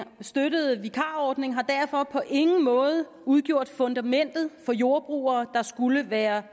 støttede vikarordning har derfor på ingen måde udgjort fundamentet for jordbrugere der skulle være